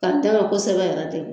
Ka d'a kan kosɛbɛ yɛrɛ tɛ.